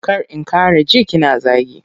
Kar in ƙara ji kina zagi.